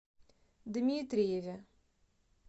дмитриеве